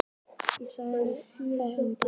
Ég sagði þér það um daginn.